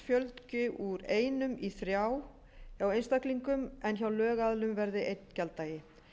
fjölgi úr einum í þrjá hjá einstaklingum en hjá lögaðilum verði einn gjalddagi